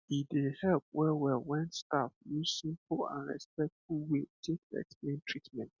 e dey help well well when staff use simple and respectful way take explain treatment